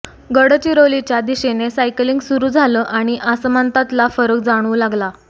गडचिरोलीच्या दिशेने सायकलिंग सुरू झालं आणि आसमंतातला फरक जाणवू लागला